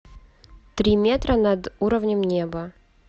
три метра над уровнем неба